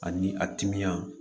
Ani a timiya